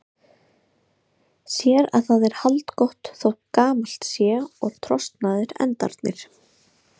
Sér að það er haldgott þótt gamalt sé og trosnaðir endarnir.